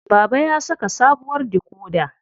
Baba ya saka sabuwar dikoda.